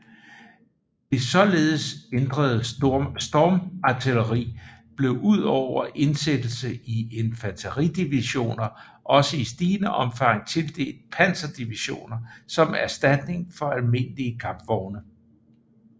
Det således ændrede stormartilleri blev udover indsættelse i infanteridivisioner også i stigende omfang tildelt panserdivisioner som erstatning for almindelige kampvogne